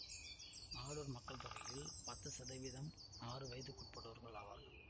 அடூர் மக்கள் தொகையில் பத்து சதவீதம் ஆறு வயதுக்குட்பட்டோர் ஆவார்கள்